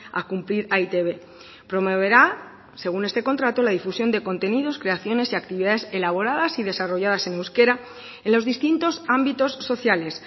a cumplir a e i te be promoverá según este contrato la difusión de contenidos creaciones y actividades elaboradas y desarrolladas en euskera en los distintos ámbitos sociales